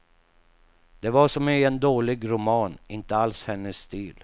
Det var som i en dålig roman, inte alls hennes stil.